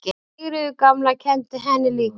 Sigríður gamla kenndi henni líka.